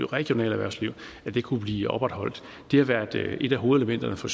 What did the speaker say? regionale erhvervsliv kunne blive opretholdt det har været et af hovedelementerne for